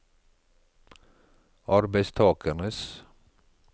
arbeidstakernes